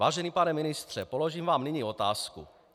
Vážený pane ministře, položím vám nyní otázku.